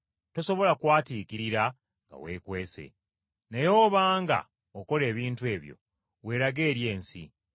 Tosobola kwatiikirira nga weekwese. Kale obanga, okola ebintu ebyo, weerage eri ensi.”